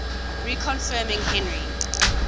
reconfirming henry